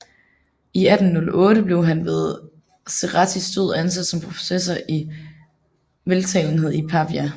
I 1808 blev han ved Cerrettis død ansat som professor i veltalenhed i Pavia